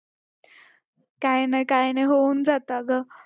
हो पण माझं मला entertainment साठी आलेत ना video